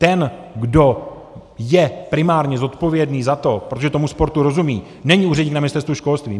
Ten, kdo je primárně zodpovědný za to, protože tomu sportu rozumí, není úředník na Ministerstvu školství.